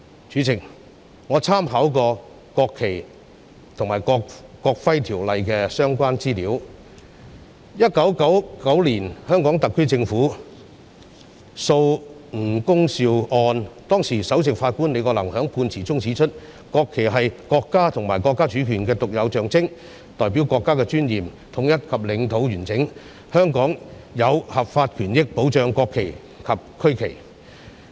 主席，我參考了《國旗及國徽條例》的相關資料，在1999年香港特區政府訴吳恭劭一案中，當時的首席法官李國能在判詞中指出，國旗是國家及國家主權的獨有象徵，代表國家的尊嚴、統一及領土完整，香港有合法權益保障國旗及區旗。